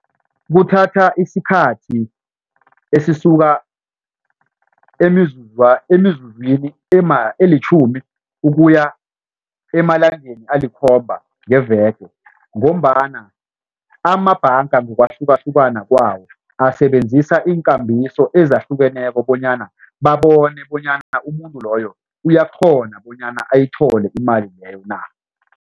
Kuthatha isikhathi esisuka emizuzwini elitjhumi ukuya emalangeni alikhomba ngeveke ngombana amabhanga ngokwahlukahlukana kwawo asebenzisa iinkambiso ezahlukeneko bonyana babone bonyana umuntu loyo uyakghona bonyana ayithole imali leyo na.